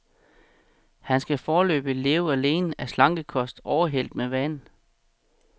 Han skal foreløbig leve alene af slankekost overhældt med vand.